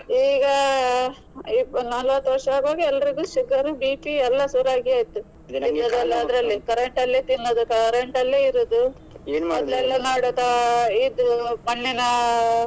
ಈಗ ನಲ್ವತ್ತು ವರ್ಷ ಆಗ್ವಗ ಎಲ್ರಿಗೂ sugar BP ಎಲ್ಲಾ ಸುರಾಗಿ ಆಯ್ತು. current ಅಲ್ಲೇ ತಿನ್ನುದು current ಅಲ್ಲೇ ಇರುದು ಮಾಡ್ವಾಗ ಇದು ಮೊನ್ನೆ ನಾವು.